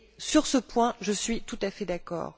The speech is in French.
Sur ce point, je suis tout à fait d'accord.